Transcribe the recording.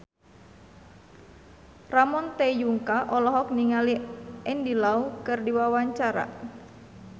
Ramon T. Yungka olohok ningali Andy Lau keur diwawancara